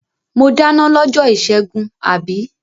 Mo dáná lọ́jọ́ ìṣẹ́gun, àbí?